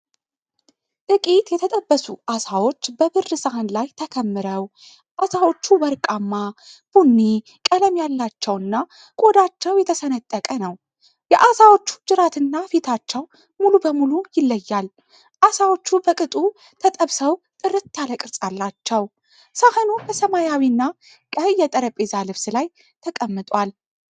ጥቂት የተጠበሱ ዓሳዎች በብር ሳህን ላይ ተከምረው፣ ዓሳዎቹ ወርቃማ ቡኒ ቀለም ያላቸውና ቆዳቸው የተሰነጠቀ ነው። የዓሳዎቹ ጅራትና ፊታቸው ሙሉ በሙሉ ይለያል። ዓሳዎቹ በቅጡ ተጠብሰው ጥርት ያለ ቅርጽ አላቸው። ሳህኑ በሰማያዊና ቀይ የጠረጴዛ ልብስ ላይ ተቀምጧል።